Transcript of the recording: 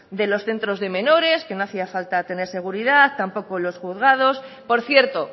de los centros de menores que no hacía falta tener seguridad tampoco en los juzgados por cierto